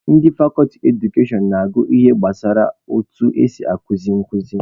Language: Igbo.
Ndị fakọlti Edukashọn na-agụ ihe gbasara etu esi akuzi nkuzi